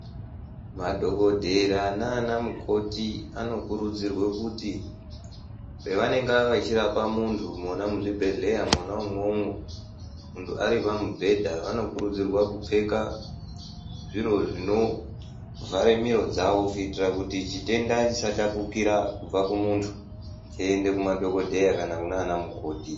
Madhokodhera nanamukoti anokurudzirwa kuti pevanenga vechirapa muntu mona muzvibhehleya mwona umwomwo muntu ari pamubhedha anokurudzirwa kupfeka zviro zvinovhare miro dzawo kuitira kuti chitenda chisatapukira kubva kumuntu cheiende kumadhokodheya kana kunanamukoti.